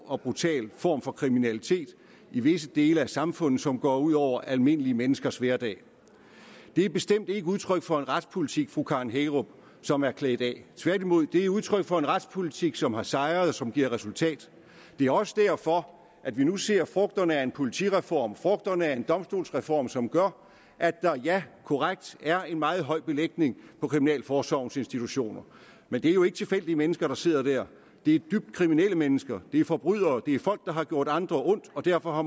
og brutal form for kriminalitet i visse dele af samfundet som går ud over almindelige menneskers hverdag det er bestemt ikke udtryk for en retspolitik fru karen hækkerup som er klædt af tværtimod er det udtryk for en retspolitik som har sejret og som giver resultat det er også derfor at vi nu ser frugterne af en politireform og frugterne af en domstolsreform som gør at der ja korrekt er en meget høj belægning på kriminalforsorgens institutioner men det er jo ikke tilfældige mennesker der sidder der det er dybt kriminelle mennesker det er forbrydere det er folk der har gjort andre ondt og derfor har